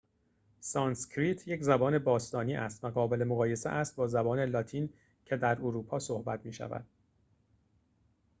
سانسکریت یک زبان باستانی است و قابل مقایسه است با زبان لاتین که در اروپا صحبت می شود